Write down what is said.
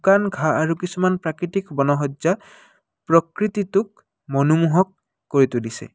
শুকান ঘাঁহ আৰু কিছুমান প্ৰাকৃতিক বনসজ্যা প্ৰকৃতিটোক মনোমোহক কৰি তুলিছে।